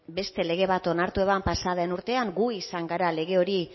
beste lege bat onartu zuen pasa den urtean gu izan gara lege hori